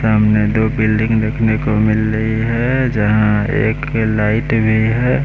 सामने दो बिल्डिंग देखने को मिल रही है जहाँ एक लाइट भी है।